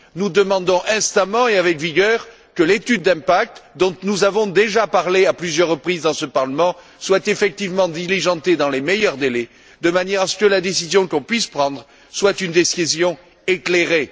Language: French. Nous demandons instamment et avec vigueur que l'étude d'impact dont nous avons déjà parlé à plusieurs reprises dans ce Parlement soit effectivement diligentée dans les meilleurs délais de manière à ce que la décision que nous puissions prendre soit une décision éclairée.